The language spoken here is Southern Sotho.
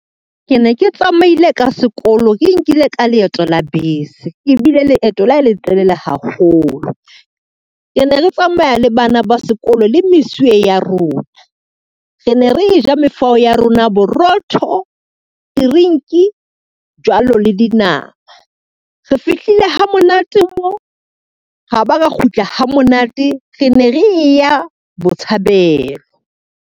Ke ne ke tsamaile ka sekolo ke nkile ka leeto la bese, e bile leeto le letelele haholo. Re ne re tsamaya le bana ba sekolo le mesuwe ya rona, re ne re eja mefao ya rona borotho, tirinki jwalo le dinama. Re fihlile ha monate mo, ra ba ra kgutla ha monate, re ne re eya Botshabelo.